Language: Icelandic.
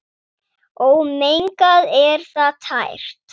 Ómengað er það tært.